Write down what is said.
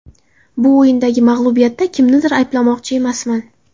Bu o‘yindagi mag‘lubiyatda kimnidir ayblamoqchi emasman.